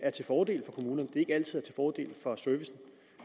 er til fordel for servicen